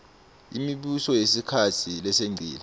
imibuso yesikhatsi lesengcile